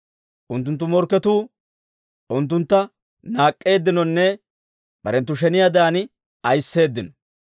Unttunttu morkketuu unttuntta naak'k'eeddinonne barenttu sheniyaadan ayisseedino.